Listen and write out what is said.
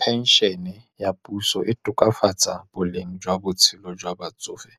Pension-e ya puso e tokafatsa boleng jwa botshelo jwa batsofe,